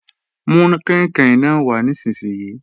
Mú kàìnkàìn náà wà nísinsìnyí!